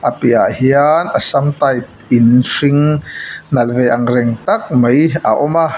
a piahah hian assam type in hring nalh ve angreng tak mai a awm a.